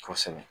Kosɛbɛ